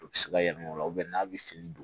U bɛ se ka yɛlɛ o la n'a bɛ fini don